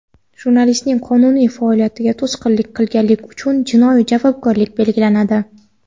Jurnalistning qonuniy faoliyatiga to‘sqinlik qilganlik uchun jinoiy javobgarlik belgilanadi.